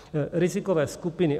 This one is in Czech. Rizikové skupiny.